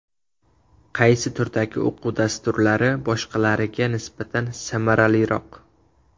Qaysi turdagi o‘quv dasturlari boshqalariga nisbatan samaraliroq?